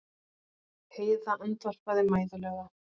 Heiða andvarpaði mæðulega.